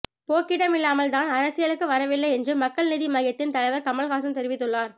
போக்கிடம் இல்லாமல் தான் அரசியலுக்கு வரவில்லை என்று மக்கள் நீதி மய்யத்தின் தலைவர் கமல் ஹாசன் தெரிவித்துள்ளார்